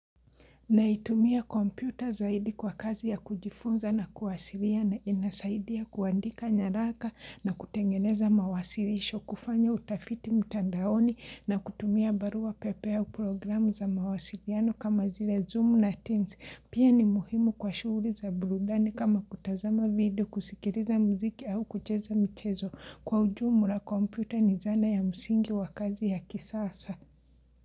Naitumia kompyuta zaidi kwa kazi ya kujifunza na kuwasiliana, inasaidia kuandika nyaraka na kutengeneza mawasilisho, kufanya utafiti mtandaoni na kutumia barua pepe au programu za mawasiliano kama zile Zoom na Teams. Pia ni muhimu kwa shughuli za burudani kama kutazama video, kusikiliza muziki au kucheza mchezo. Kwa ujumla kompyuta ni zana ya msingi wa kazi ya kisasa.